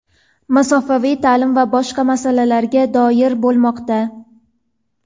masofaviy ta’lim va boshqa masalalarga doir bo‘lmoqda.